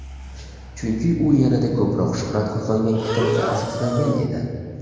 Chunki u yanada ko‘proq shuhrat qozongan kitobga asoslangan edi.